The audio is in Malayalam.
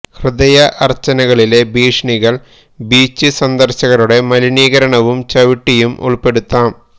ഹൃദയ അർച്ചനകളിലെ ഭീഷണികൾ ബീച്ച് സന്ദർശകരുടെ മലിനീകരണവും ചവിട്ടിയും ഉൾപ്പെടുത്താം